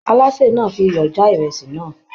Alase náà fí iyọ já ìrèsì náà.